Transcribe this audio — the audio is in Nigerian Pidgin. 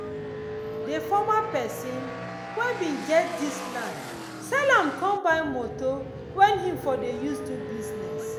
dey former pesin wen bin get dis land sell am com go buy moto wen him for dey use do business